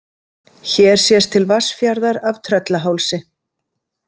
Hér sést til Vatnsfjarðar af Tröllahálsi.